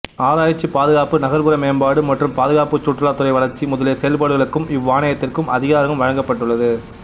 ஆராய்ச்சி பாதுகாப்பு நகர்ப்புற மேம்பாடு மற்றும் பாதுகாப்பு சுற்றுலாத்துறை வளர்ச்சி முதலிய செயல்பாடுகளுக்கும் இவ்வாணையத்திற்கு அதிகாரம் வழங்கப்பட்டுள்ளது